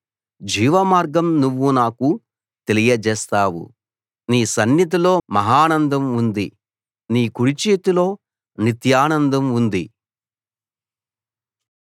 జీవమార్గం నువ్వు నాకు తెలియజేస్తావు నీ సన్నిధిలో మహానందం ఉంది నీ కుడిచేతిలో నిత్యానందం ఉంది